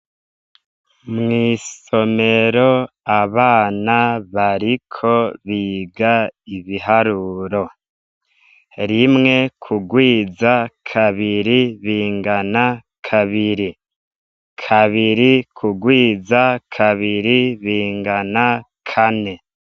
Mw'isomero abana bariko biga ibiharuro rimwe ku rwiza kabiri bingana kabiri, kabiri ku rwiza kabiri bingana kane.